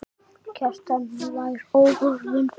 Kjartan: Fær áhöfnin frí?